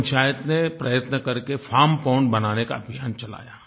पंचायत ने प्रयत्न करके फार्म पोंड बनाने का अभियान चलाया